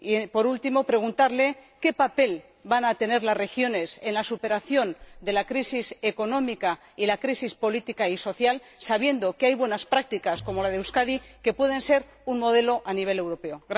Por último, quisiera preguntarle qué papel van a tener las regiones en la superación de la crisis económica y la crisis política y social, sabiendo que hay buenas prácticas, como las de Euskadi, que pueden ser un modelo a nivel europeo.